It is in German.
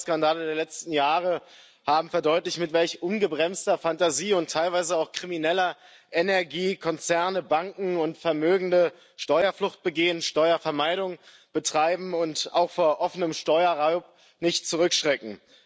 Die Steuerskandale der letzten Jahre haben verdeutlicht, mit welch ungebremster Fantasie und teilweise auch krimineller Energie Konzerne, Banken und Vermögende Steuerflucht begehen, Steuervermeidung betreiben und auch vor offenem Steuerraub nicht zurückschrecken.